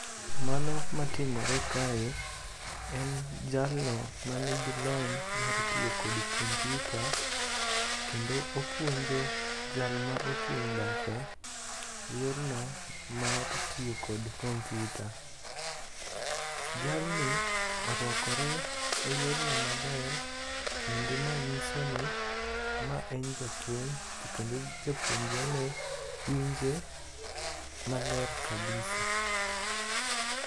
Mano matimore kae en jalno manigi lony mar tiyo kod kompiuta kendo opuonjo jal ma ochung' bathe yorno mar tiyo kod kompiuta. Jalni orwakore e yorno maler kendo ma nyiso ni ma en japuonj kendo japuonjrene winje maler kabisa.